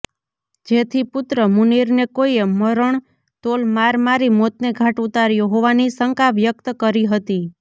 જેથી પુત્ર મુનીરને કોઈએ મરણતોલ માર મારી મોતને ઘાટ ઉતાર્યો હોવાની શંકા વ્યકત કરી હતી